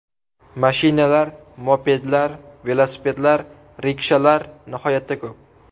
Mashinalar, mopedlar, velosipedlar, rikshalar nihoyatda ko‘p.